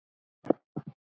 Grein hans byrjaði svona